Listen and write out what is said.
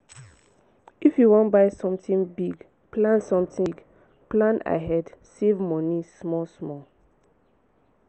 if you wan buy sometin big plan sometin big plan ahead save moni small small.